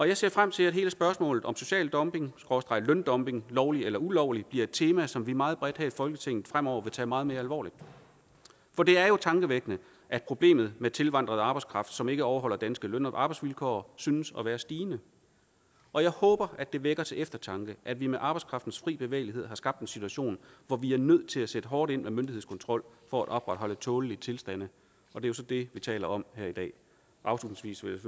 jeg ser frem til at hele spørgsmålet om social dumping skråstreg løndumping lovlig eller ulovlig bliver et tema som vi meget bredt her i folketinget fremover vil tage meget mere alvorligt for det er jo tankevækkende at problemet med tilvandret arbejdskraft som ikke overholder danske løn og arbejdsvilkår synes at være stigende og jeg håber at det vækker til eftertanke at vi med arbejdskraftens fri bevægelighed har skabt en situation hvor vi er nødt til at sætte hårdt ind med myndighedskontrol for at opretholde tålelige tilstande og det er så det vi taler om her i dag afslutningsvis